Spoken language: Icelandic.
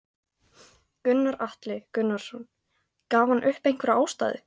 Gunnar Atli Gunnarsson: Gaf hann upp einhverja ástæðu?